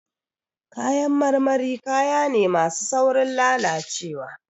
Kayan marmari, kaya ne masu saurin lalacewa.